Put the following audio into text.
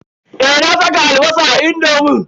Eh, na saka albasa a indomin.